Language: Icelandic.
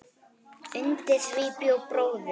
Undir því bjó bróðir